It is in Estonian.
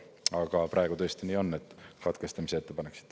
Aga praegu tõesti nii on, et katkestamise ettepanek siit.